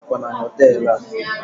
ha na-ere akwa na hotel a